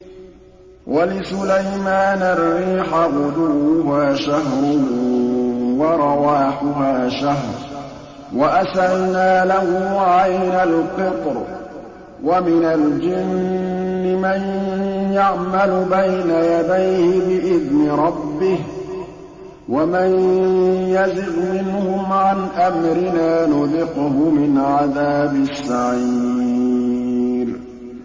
وَلِسُلَيْمَانَ الرِّيحَ غُدُوُّهَا شَهْرٌ وَرَوَاحُهَا شَهْرٌ ۖ وَأَسَلْنَا لَهُ عَيْنَ الْقِطْرِ ۖ وَمِنَ الْجِنِّ مَن يَعْمَلُ بَيْنَ يَدَيْهِ بِإِذْنِ رَبِّهِ ۖ وَمَن يَزِغْ مِنْهُمْ عَنْ أَمْرِنَا نُذِقْهُ مِنْ عَذَابِ السَّعِيرِ